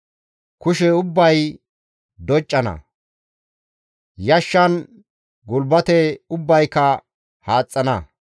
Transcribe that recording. Kushe ubbay doccana; yashshan gulbate ubbayka haaxxana.